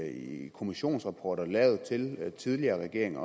i kommissionsrapporter lavet til tidligere regeringer